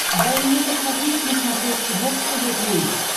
дай мне посмотреть на смотрешке бокс тв плюс